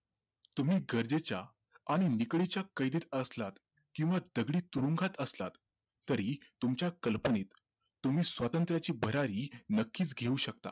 तुम्ही गरजेच्या आणि निकळीच्या कैदेत असलात किव्हा दगडी तुरुंगात असलात तरीही तुमच्या कल्पनेत तुम्ही स्वातंत्र्याची भरारी नक्कीच घेऊ शकता